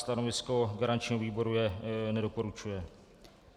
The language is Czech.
Stanovisko garančního výboru je: nedoporučuje.